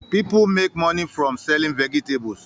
People make money from selling vegetables